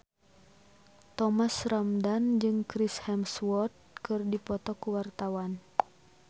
Thomas Ramdhan jeung Chris Hemsworth keur dipoto ku wartawan